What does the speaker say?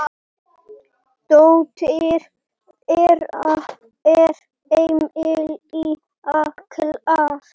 Dóttir þeirra er Emilía Klara.